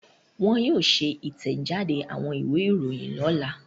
Wọ́n yóò ṣe ìtẹ̀jáde àwọn ìwé-ìròyìn lọ́la.